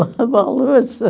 Lavar louça.